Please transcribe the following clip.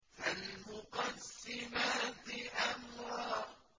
فَالْمُقَسِّمَاتِ أَمْرًا